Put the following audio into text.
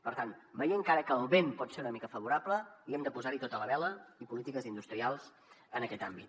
per tant veient que ara el vent pot ser una mica favorable hi hem de posar tota la vela i polítiques industrials en aquest àmbit